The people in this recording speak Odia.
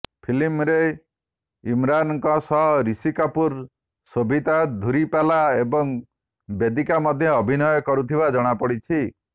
ଫିଲ୍ମରେ ଇମାରାନ୍ଙ୍କ ସହ ରିଷି କପୁର ସୋଭିତା ଧୁଲିପାଲା ଏବଂ ବେଦିକା ମଧ୍ୟ ଅଭିନୟ କରୁଥିବା ଜଣାପଡିଛି